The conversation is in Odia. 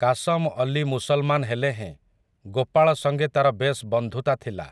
କାଶମ ଅଲୀ ମୁସଲମାନ୍ ହେଲେ ହେଁ ଗୋପାଳ ସଙ୍ଗେ ତାର ବେଶ୍ ବନ୍ଧୁତା ଥିଲା ।